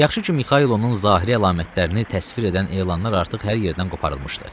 Yaxşı ki, Mikayılın zahiri əlamətlərini təsvir edən elanlar artıq hər yerdən qoparılmışdı.